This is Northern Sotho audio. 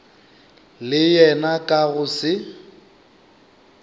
le yena ka go se